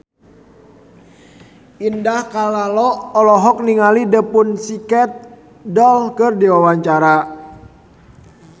Indah Kalalo olohok ningali The Pussycat Dolls keur diwawancara